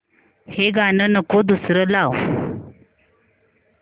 हे गाणं नको दुसरं लाव